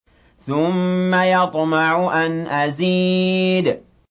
ثُمَّ يَطْمَعُ أَنْ أَزِيدَ